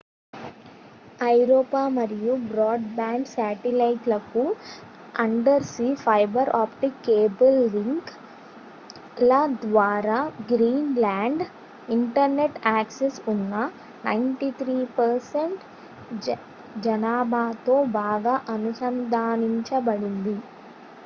ఐరోపా మరియు broadband satellite లకు undersea fibre optic cable link ల ద్వారా గ్రీన్ లాండ్ ఇంటర్నెట్ యాక్సెస్ ఉన్న 93% జనాభాతో బాగా అనుసంధానించబడింది